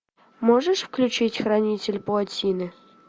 можешь включить хранитель плотины